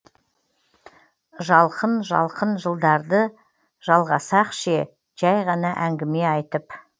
жалқын жалқын жылдарды жалғасақ ше жәй ғана әңгіме айтып